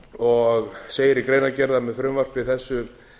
og segir í greinargerð að með frumvarpi þessu